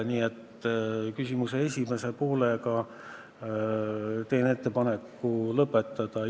Nii et küsimuse esimese poole teemaga ma teen ettepaneku lõpetada.